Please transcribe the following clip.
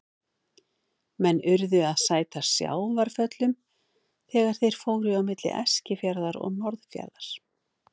Menn urðu að sæta sjávarföllum þegar þeir fóru á milli Eskifjarðar og Norðfjarðar.